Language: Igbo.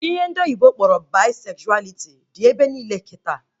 Ihe ndị oyibo kpọrọ Baisezualiti dị ebe niile kịta